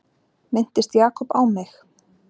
Minntist Jakob á mig?